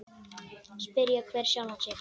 Spyrji hver sjálfan sig.